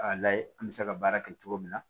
A layɛ an bɛ se ka baara kɛ cogo min na